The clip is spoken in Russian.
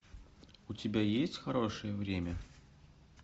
у тебя есть хорошее время